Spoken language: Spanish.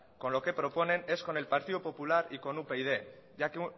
con lo que proponen es con el partido popular y con upyd ya que